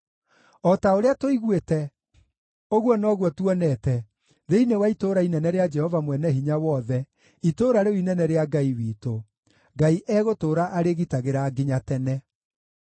O ta ũrĩa tũiguĩte, ũguo noguo tuonete thĩinĩ wa itũũra inene rĩa Jehova Mwene-Hinya-Wothe, itũũra rĩu inene rĩa Ngai witũ: Ngai egũtũũra arĩgitagĩra nginya tene.